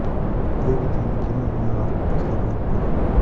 выведи мне кино ренуар последняя любовь